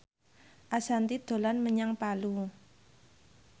Ashanti dolan menyang Palu